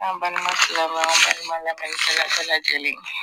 An balima silamaw balima lamɛnlikɛla bɛɛ lajɛlen.